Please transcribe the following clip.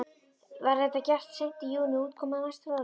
Var þetta gert seint í júní og útkoman næsta fróðleg.